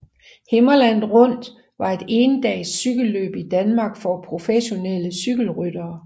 Himmerland Rundt var et endags cykelløb i Danmark for professionelle cykelryttere